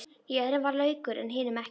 Í öðrum var laukur en hinum ekki.